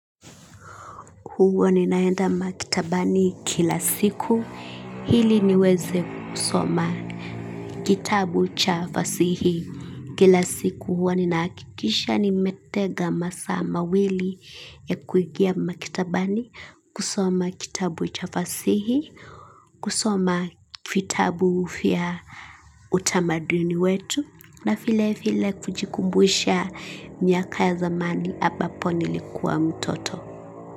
Huwa ninaenda makitabani kila siku hili niweze kusoma kitabu cha fasihi kila siku huwa ninaakikisha nimetega masaa mawili ya kuingia makitabani kusoma kitabu cha fasihi kusoma kitabu ufya utamaduni wetu na file file kujikumbusha myaka ya zamani ampapo nilikua mtoto.